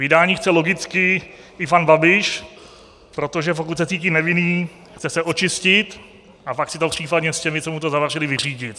Vydání chce logicky i pan Babiš, protože pokud se cítí nevinný, chce se očistit a pak si to případně s těmi, co mu to zavařili, vyřídit.